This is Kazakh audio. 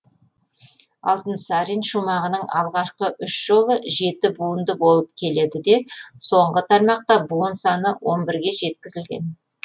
алтынсарин шумағының алғашқы үш жолы жеті буынды болып келеді де соңғы тармақта буын саны он бірге жеткізілген